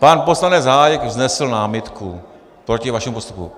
Pan poslanec Hájek vznesl námitku proti vašemu postupu.